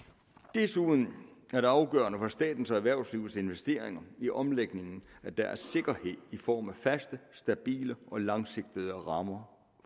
desuden er det afgørende for statens og erhvervslivets investeringer i omlægningen at der er sikkerhed i form af faste stabile og langsigtede rammer